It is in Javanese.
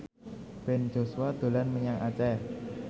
Ben Joshua dolan menyang Aceh